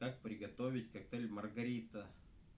как приготовить коктейль маргарита